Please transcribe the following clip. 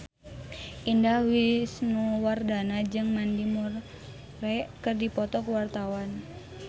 Indah Wisnuwardana jeung Mandy Moore keur dipoto ku wartawan